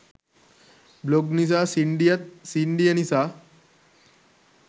blog නිසා සින්ඩියත් සින්ඩිය නිසා